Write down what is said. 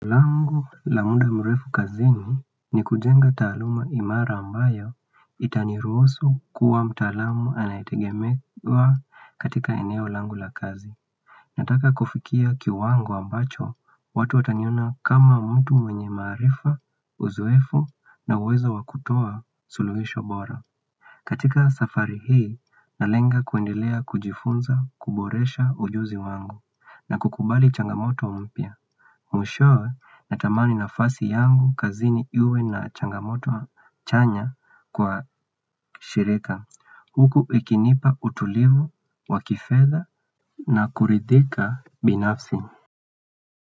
Langu la muda mrefu kazini ni kujenga taaluma imara ambayo itaniruhusu kuwa mtalamu anayetegemewa katika eneo langu la kazi. Nataka kufikia kiwango ambacho watu wataniona kama mtu mwenye maarifa uzowefu na uwezo wakutoa suluhisho bora. Katika safari hii nalenga kuendelea kujifunza kuboresha ujuzi wangu na kukubali changamoto mpya. Mushowe natamani na fasi yangu kazini iwe na changamoto chanya kwa shirika Huku ikinipa utulivu, wakifedha na kuridhika binafsi.